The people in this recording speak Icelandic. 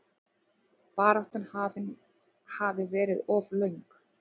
Baráttan hafi verið of löng.